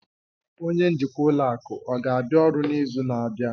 Onye njikwa ụlọ akụ ọ ga-abịa ọrụ n'izu na-abịa?